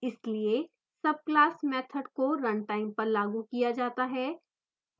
इसलिए subclass method को runtime पर लागू किया जाता है